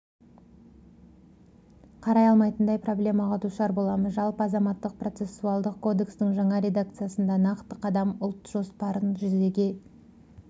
қарай алмайтындай проблемаға душар боламыз жалпы азаматтық-процессуалдық кодекстің жаңа редакциясында нақты қадам ұлт жоспарын жүзеге